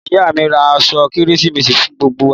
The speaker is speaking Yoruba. Ìyá mi rà àsọ kẹrẹsímèsi fún gbogbo wà